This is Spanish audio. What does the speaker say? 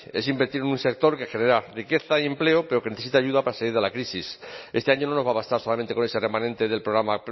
es invertir en un sector que genera riqueza y empleo pero que necesita ayuda para salir de la crisis este año no nos va a bastar solamente con ese remanente del programa